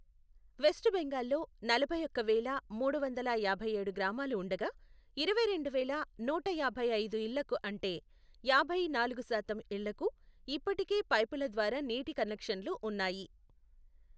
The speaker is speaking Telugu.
వెస్ట్ బెంగాల్లో నలభై ఒక్క వేల మూడు వందల యాభై ఏడు గ్రామాలు ఉండగా, ఇరవై రెండు వేల నూట యాభై ఐదు ఇళ్లకు అంటే, యాభై నాలుగు శాతం ఇళ్లకు ఇప్పటికే పైపుల ద్వారా నీటి కనెక్షన్లు ఉన్నాయి.